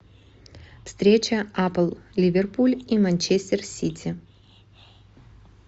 встреча апл ливерпуль и манчестер сити